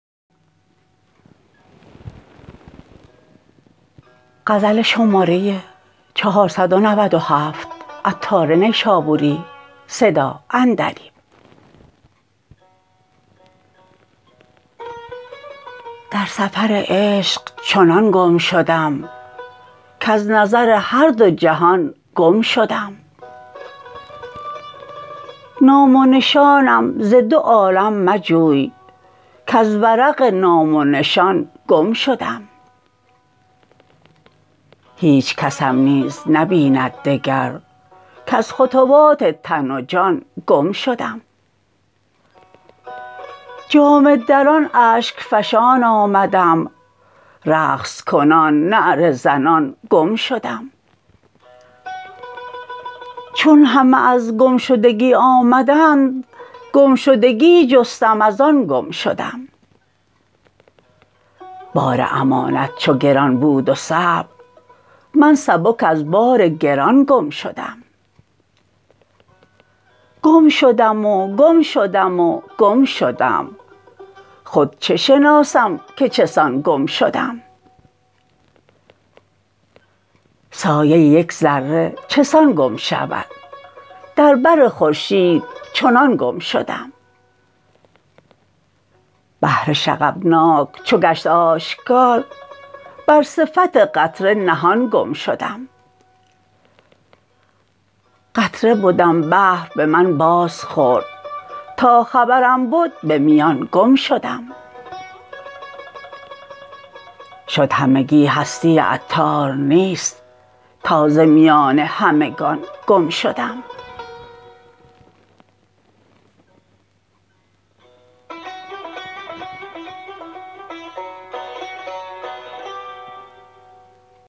در سفر عشق چنان گم شدم کز نظر هر دو جهان گم شدم نام و نشانم ز دو عالم مجوی کز ورق نام و نشان گم شدم هیچ کسم نیز نبیند دگر کز خطوات تن و جان گم شدم جامه دران اشک فشان آمدم رقص کنان نعره زنان گم شدم چون همه از گم شدگی آمدند گم شدگی جستم از آن گم شدم بار امانت چو گران بود و صعب من سبک از بار گران گم شدم گم شدم و گم شدم و گم شدم خود چه شناسم که چه سان گم شدم سایه یک ذره چه سان گم شود در بر خورشید چنان گم شدم بحر شغبناک چو گشت آشکار بر صفت قطره نهان گم شدم قطره بدم بحر به من باز خورد تا خبرم بد به میان گم شدم شد همگی هستی عطار نیست تا ز میان همگان گم شدم